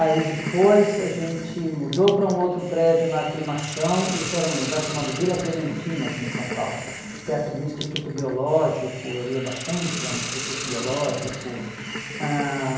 Aí depois a gente mudou para um outro prédio na Aclimação, isso era num lugar chamado Vila Clementino aqui em São Paulo, perto do Instituto Biológico, eu ia bastante lá no Instituto Biológico. Ãh